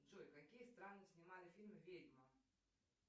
джой какие страны снимали фильм ведьма